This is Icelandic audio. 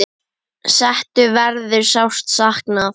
Settu verður sárt saknað.